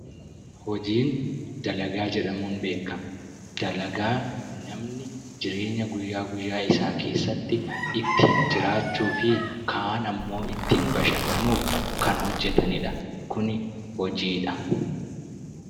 Hojiin dalagaa jedhamuun beekama. Dalagaa jireenya guyyaa guyyaa keessatti ittiin jiraachuu fi kaan immoo ittiin bashannanuuf hojjatanidha. Kun hojiidha.